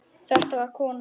Þetta var kona.